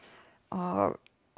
og